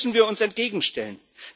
Dem müssen wir uns entgegenstellen.